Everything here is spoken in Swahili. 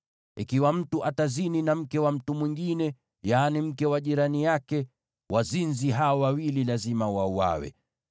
“ ‘Ikiwa mtu atazini na mke wa mtu mwingine, yaani mke wa jirani yake, wazinzi hao wawili lazima wauawe.